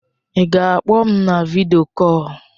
Ị ga-akpọ m na vidio kọl?